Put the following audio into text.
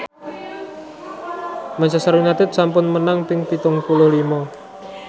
Manchester united sampun menang ping pitung puluh lima